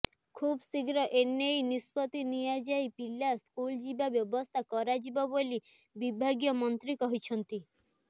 ଖୁବ୍ ଶୀଘ୍ର ଏନେଇ ନିଷ୍ପତ୍ତି ନିଆଯାଇ ପିଲା ସ୍କୁଲ ଯିବା ବ୍ୟବସ୍ଥା କରାଯିବ ବୋଲି ବିଭାଗୀୟ ମନ୍ତ୍ରୀ କହିଛନ୍ତି